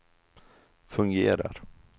fungerar